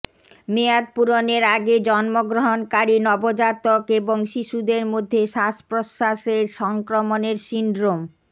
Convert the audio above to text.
মেয়াদপূরণের আগে জন্মগ্রহণকারী নবজাতক এবং শিশুদের মধ্যে শ্বাস প্রশ্বাসের সংক্রমণের সিন্ড্রোম